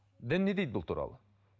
дін не дейді бұл туралы